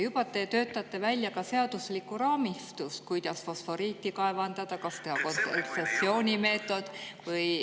Juba te töötate välja ka seaduslikku raamistikku, kuidas fosforiiti kaevandada – kas see oleks kontsessioonimeetod.